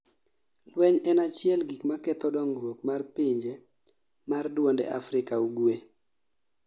lweny en achiel gikma ketho dongruok mar pinje mar duonde Afrika Ugwe